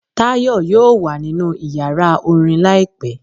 Tayo yóò wa ninú ìyára orín laípẹ